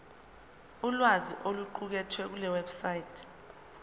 ulwazi oluqukethwe kulewebsite